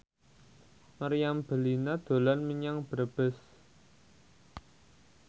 Meriam Bellina dolan menyang Brebes